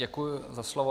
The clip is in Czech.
Děkuji za slovo.